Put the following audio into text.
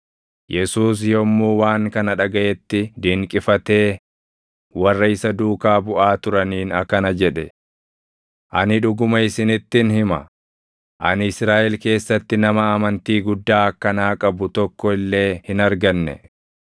Yesuus yommuu waan kana dhagaʼetti dinqifatee warra isa duukaa buʼaa turaniin akkana jedhe; “Ani dhuguma isinittin hima; ani Israaʼel keessatti nama amantii guddaa akkanaa qabu tokko illee hin arganne.